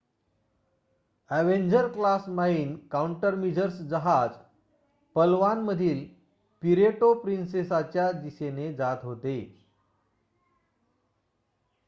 Avenger class mine countermeasures जहाज पलवानमधील Puerto प्रिन्सेसाच्या दिशेने जात होते